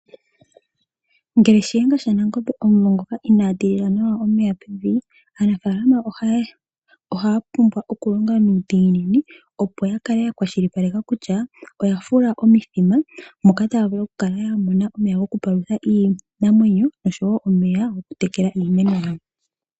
Ngele shiyenga shanangombe omumvo ngoka inaa tilila nawa omeya pevi aanafaalama ohaya pumbwa okulonga nuudhiginini opo yakale yakwashilipaleka kutya oyafula omithima moka taavulu okukala yamona omeya goku palutha iinamwenyo oshowo omeya gokutekela iimeno yawo.